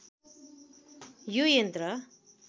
यो यन्त्र